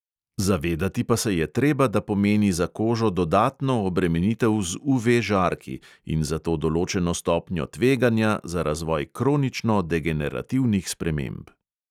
Zavedati pa se je treba, da pomeni za kožo dodatno obremenitev z UV-žarki in zato določeno stopnjo tveganja za razvoj kronično degenerativnih sprememb.